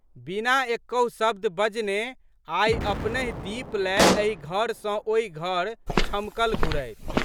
बिना एकहु शब्द बजने आइ अपनहि दीप लए एहि घर सँ ओहि घर छमकल घुरथि।